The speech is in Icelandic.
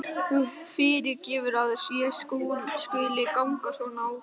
Þú fyrirgefur að ég skuli ganga svona á þig.